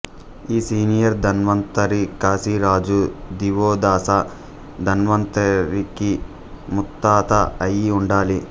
ఈ సీనియర్ ధన్వంతరి కాశీరాజు దివోదాస ధన్వంతరికి ముత్తాత అయి ఉండాలి